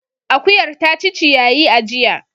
Akuyar ta ci ciyayi a jiya.